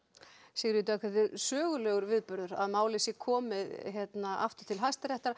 Sigríður Dögg þetta er sögulegur viðburður að málið sé komið aftur til Hæstaréttar